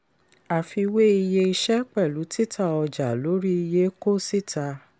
àfiwé iye iṣẹ́ pẹ̀lú títà ọjà lórí iye kó síta.